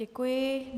Děkuji.